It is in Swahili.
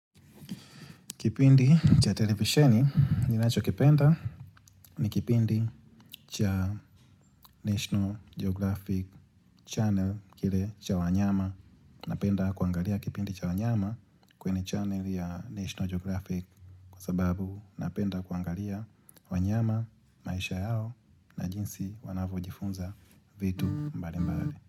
Kipindi cha televisheni, ninachokipenda ni kipindi cha National Geographic channel kile cha wanyama. Napenda kuangalia kipindi cha wanyama kwenye channel ya National Geographic kwa sababu napenda kuangalia wanyama, maisha yao na jinsi wanavyojifunza vitu mbali mbali.